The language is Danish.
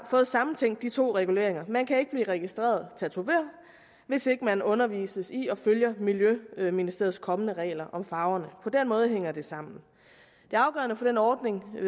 fået sammentænkt de to reguleringer man kan ikke blive registreret tatovør hvis ikke man undervises i og følger miljøministeriets kommende regler om farverne på den måde hænger det sammen det afgørende for den ordning